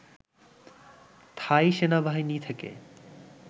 থাই সেনাবাহিনী থেকে